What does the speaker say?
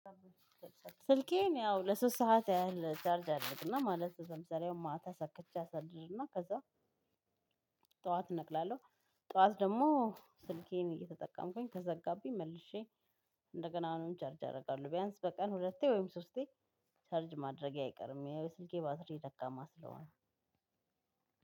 ስልኬን ያው ለሶስት ሰዓት ያህል ቻርጅ አደርግና ማለት ለምሳሌ አሁን ማታ ሰክቼ አሳድርና ከዛ ጠዋት እነቅላለሁ። ጠዋት ደግሞ ስልኬን እየተጠቀምኩኝ ከዘጋብኝ መልሼ እንደገና አሁንም ቻርጅ አደርጋለሁ። ቢያንስ በቀን ሁለቴ ወይም ሶስቴ ቻርጅ ማድረጌ አይቀርም የስልኬ ባትሪ ደካማ ስለሆነ።